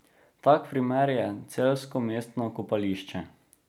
Tak primer je celjsko mestno kopališče.